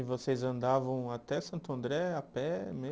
E vocês andavam até Santo André a pé